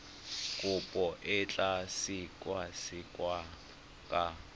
kopo e tla sekasekiwa ka